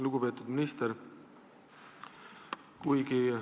Lugupeetud minister!